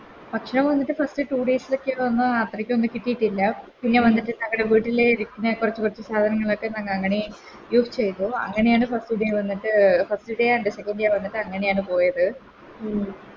ഭക്ഷണം വന്നിട്ട് First two days ലോക്കെ ഒന്നു അത്രക്കൊന്നു കിട്ടീട്ടില്ല പിന്നെ വന്നിട്ട് ഞങ്ങടെ വീട്ടിലെ ഇരിക്കുന്ന കൊറച്ച് കൊറച്ച് സാധനങ്ങളൊക്കെ ഞാനങ്ങനെ Use ചെയ്‌തു അങ്ങനെയാണ് First day വന്നിട്ട് First day and the second day വന്നിട്ട് അങ്ങനെയാണ് പോയത്